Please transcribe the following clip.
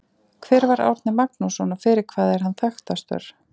Hver var Árni Magnússon og fyrir hvað er hann þekktastur?